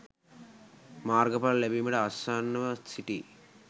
මාර්ගඵල ලැබීමට ආසන්නව සිටියි.